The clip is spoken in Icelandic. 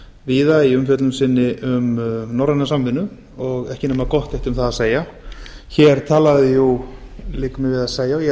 víða í umfjöllun sinni um norræna samvinnu og ekki nema gott eitt um það að segja hér talaði jú liggur mér við að segja og ég